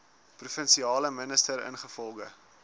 provinsiale minister ingevolge